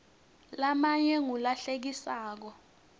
lamanye ngula hlekisako